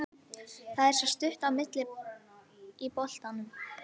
Það er svo stutt á milli í boltanum.